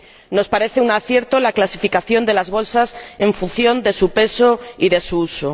Nos parece un acierto la clasificación de las bolsas en función de su peso y de su uso.